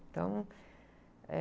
Então, é...